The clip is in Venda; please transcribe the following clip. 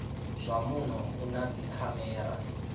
zwa muno u na dzikhamera